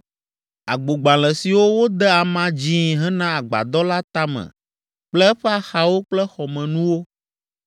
agbogbalẽ siwo wode ama dzĩi hena agbadɔ la tame kple eƒe axawo kple xɔmenuwo;